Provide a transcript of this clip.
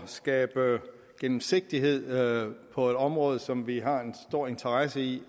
at skabe gennemsigtighed på et område som vi har en stor interesse i